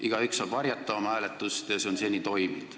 Igaüks saab oma hääletust varjata, mis on seni toiminud.